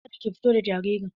Ka da ki fito da jaririn!